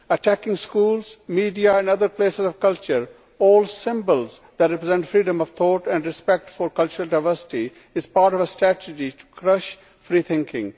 Attacking schools, media and other places of culture all symbols that represent freedom of thought and respect for cultural diversity is part of a strategy to crush free thinking.